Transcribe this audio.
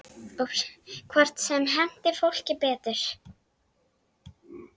Hvort sem henti fólki betur.